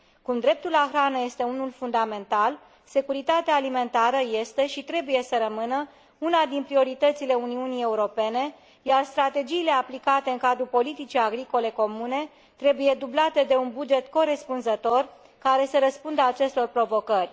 Cum dreptul la hrană este unul fundamental, securitatea alimentară este și trebuie să rămână una din prioritățile Uniunii Europene, iar strategiile aplicate în cadrul politicii agricole comune trebuie dublate de un buget corespunzător, care să răspundă acestor provocări.